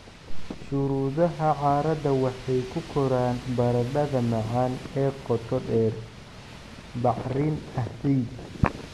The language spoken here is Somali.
"Shuruudaha carrada waxay ku koraan baradhada macaan ee qoto dheer, bacrin ah, ciid"